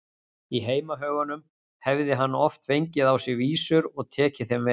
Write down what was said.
Í heimahögunum hefði hann oft fengið á sig vísur og tekið þeim vel.